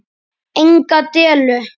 Enga dellu!